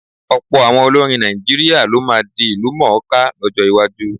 Ọ̀pọ̀ àwọn olórin Nàìjíríà ló máa di ìlúmọ̀-ọ́n-ká lọ́jọ́ iwájú.